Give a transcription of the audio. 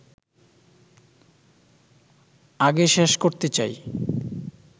আগে শেষ করতে চাই